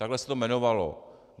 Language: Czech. Takhle se to jmenovalo.